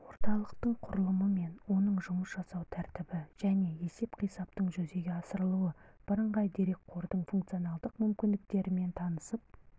орталықтың құрылымымен оның жұмыс жасау тәртібі және есеп-қисаптың жүзеге асырылуы бірыңғай дерекқордың функционалдық мүмкіндіктерімен танысып